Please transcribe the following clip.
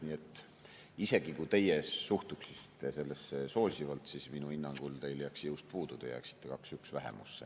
Nii et isegi kui teie suhtuksite sellesse soosivalt, siis minu hinnangul teil jääks jõust puudu, te jääksite 2 : 1 vähemusse.